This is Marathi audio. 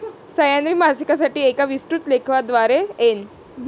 सह्याद्री मासिकासाठी एका विस्तृत लेखाद्वारे एन.